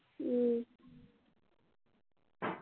উম